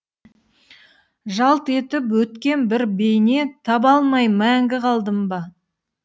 жалт етіп өткен бір бейне таба алмай мәңгі қалдым ба